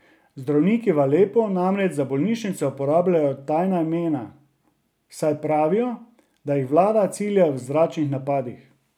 Zdravniki v Alepu namreč za bolnišnice uporabljajo tajna imena, saj pravijo, da jih vlada cilja v zračnih napadih.